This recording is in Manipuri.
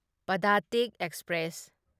ꯄꯗꯇꯤꯛ ꯑꯦꯛꯁꯄ꯭ꯔꯦꯁ